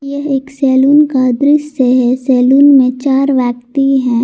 यह एक सैलून का दृश्य है सैलून में चार व्यक्ति हैं।